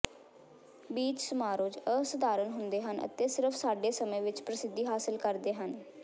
beach ਸਮਾਰੋਜ਼ ਅਸਧਾਰਨ ਹੁੰਦੇ ਹਨ ਅਤੇ ਸਿਰਫ ਸਾਡੇ ਸਮੇਂ ਵਿਚ ਪ੍ਰਸਿੱਧੀ ਹਾਸਿਲ ਕਰਦੇ ਹਨ